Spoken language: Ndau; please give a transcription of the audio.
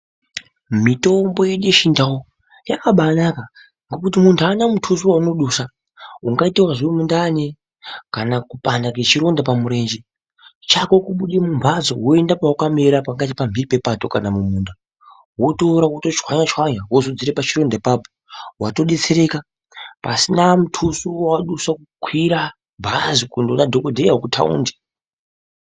Mitombo yedu yechiNdau yakabanaka ngekuti muntu aana mutuso waanodusa ungaitezve wemundani kana kupanda kwechironda pamurenje chako kubuda mumhatso woenda pawakamira pakaita pamhiri pepato kana mukunda woto chwanya chwanya wotodzodza pachironda ipapowotodetserekeka pasina muduso wawadusa kukwira bhazi